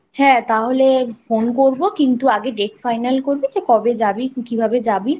হ্যাঁ তাহলে phone করবো কিন্তু আগে date final করবি যে কবে যাবি কিভাবে যাবি